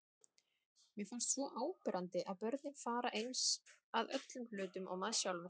Mér finnst svo áberandi að börnin fara eins að öllum hlutum og maður sjálfur.